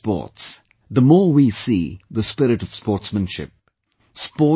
The more we promote sports, the more we see the spirit of sportsmanship